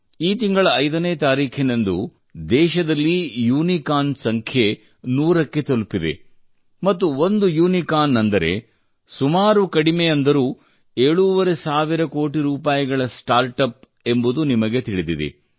ಈ ತಿಂಗಳ 5 ನೇ ತಾರೀಖಿನಂದು ದೇಶದಲ್ಲಿ ಯುನಿಕಾರ್ನ್ ಸಂಖ್ಯೆ ನೂರಕ್ಕೆ ತಲುಪಿದೆ ಮತ್ತು ಒಂದು ಯುನಿಕಾರ್ನ್ ಅಂದರೆ ಸುಮಾರು ಕಡಿಮೆ ಎಂದರೂ ಏಳೂವರೆ ಸಾವಿರ ಕೋಟಿ ರೂಪಾಯಿಗಳ ಸ್ಟಾರ್ಟ್ ಅಪ್ ಎಂಬುದು ನಿಮಗೆ ತಿಳಿದಿದೆ